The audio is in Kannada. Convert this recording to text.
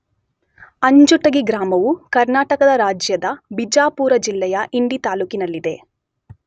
ಅಂಜುಟಗಿ ಗ್ರಾಮವು ಕರ್ನಾಟಕ ರಾಜ್ಯದ ಬಿಜಾಪುರ ಜಿಲ್ಲೆಯ ಇಂಡಿ ತಾಲ್ಲೂಕಿನಲ್ಲಿದೆ.